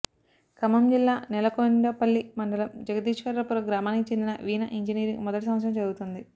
ఖమ్మం జిల్లా నేలకొండపల్లి మండలం జగదీశ్వరపురం గ్రామానికి చెందిన వీణ ఇంజినీరింగ్ మొదటి సంవత్సరం చదువుతోంది